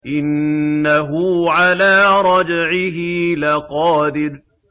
إِنَّهُ عَلَىٰ رَجْعِهِ لَقَادِرٌ